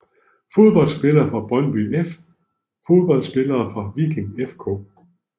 Fodboldspillere fra Brøndby IF Fodboldspillere fra Viking FK